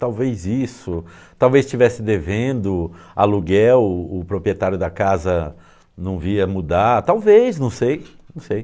Talvez isso, talvez estivesse devendo aluguel, o proprietário da casa não via mudar, talvez, não sei, não sei.